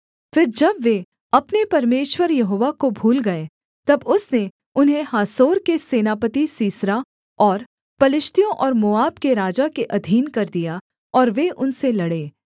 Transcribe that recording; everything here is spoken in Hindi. फिर जब वे अपने परमेश्वर यहोवा को भूल गए तब उसने उन्हें हासोर के सेनापति सीसरा और पलिश्तियों और मोआब के राजा के अधीन कर दिया और वे उनसे लड़े